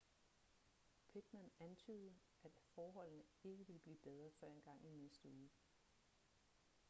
pittman antydede at forholdene ikke ville blive bedre før engang i næste uge